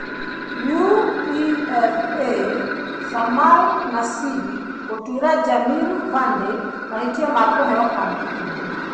UEFA: Samir Nasri gũtuĩra Jamie Vardy mahĩtia ma kũheo kandi ndune.